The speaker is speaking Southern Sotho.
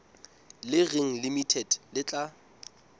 le reng limited le tla